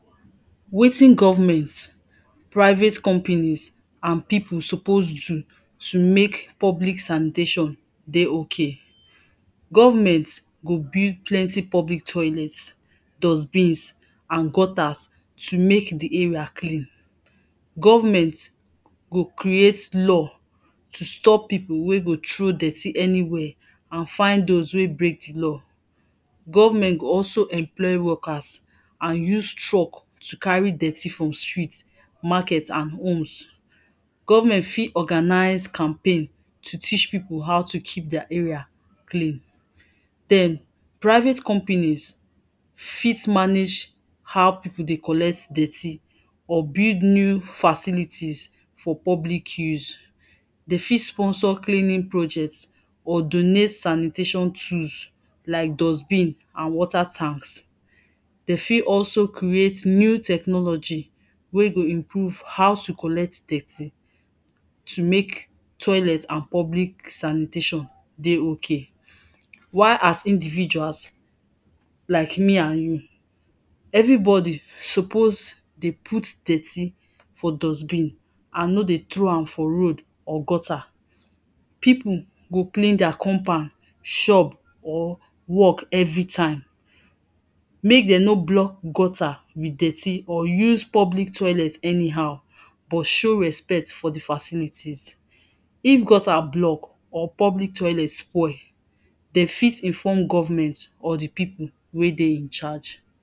Wetin government, private companies and pipu suppose do to mek public sanitation dey ok. Government, go build plenty public toilets, dustbins and gutters to mek di area clean. Government go create law to stop pipo wey go throw dirty anywhere and find dose wey break di law. Government go also employ workers and use truck to carry dirty from street, market and homes. Government fit organize campaign to teach pipo how to keep deir area clean. Den, private companies fit manage how pipu dey collect dirty or build new facilities for public use, de fit sponsor cleaning project or donate sanitation tools like dustbin and water tanks, de fit also create new technology wey go improve how to collect dirty to mek toilet and public sanitation. While, as individuals, like me and you, everybody suppose dey put dirty for dustbin and no dey throw am for road or gutter. Pipu go clean deir compound, shop or work everytime, mek de no block gutter with dirty or use public toilet anyhow, but show respect for di facilities, if gutter block or public toilet spoil, de fit inform government or di pipu wey dey incharge.